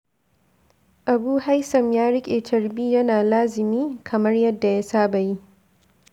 Abu Haysam ya riƙe carbi yana lazumin kamar yadda ya saba yi.